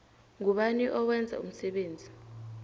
ngubani owenza umsebenzi